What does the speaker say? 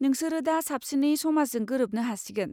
नोंसोरो दा साबसिनै समाजजों गोरोबनो हासिगोन।